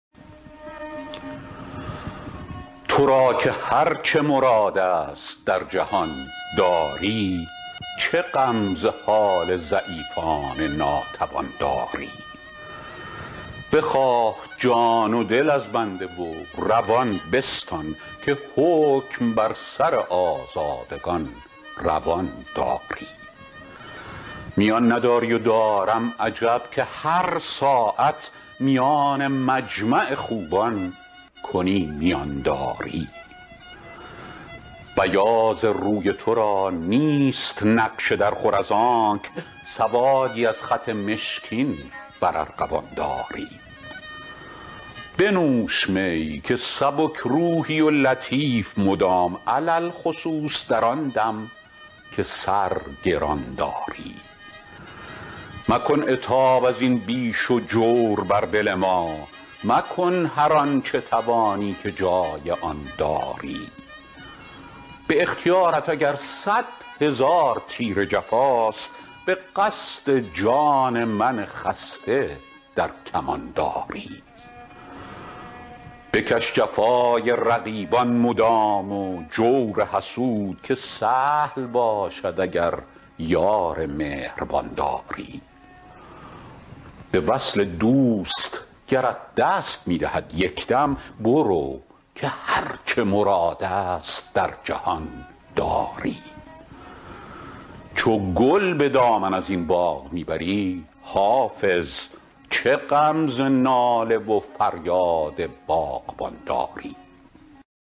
تو را که هر چه مراد است در جهان داری چه غم ز حال ضعیفان ناتوان داری بخواه جان و دل از بنده و روان بستان که حکم بر سر آزادگان روان داری میان نداری و دارم عجب که هر ساعت میان مجمع خوبان کنی میان داری بیاض روی تو را نیست نقش درخور از آنک سوادی از خط مشکین بر ارغوان داری بنوش می که سبک روحی و لطیف مدام علی الخصوص در آن دم که سر گران داری مکن عتاب از این بیش و جور بر دل ما مکن هر آن چه توانی که جای آن داری به اختیارت اگر صد هزار تیر جفاست به قصد جان من خسته در کمان داری بکش جفای رقیبان مدام و جور حسود که سهل باشد اگر یار مهربان داری به وصل دوست گرت دست می دهد یک دم برو که هر چه مراد است در جهان داری چو گل به دامن از این باغ می بری حافظ چه غم ز ناله و فریاد باغبان داری